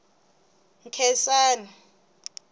nkhensani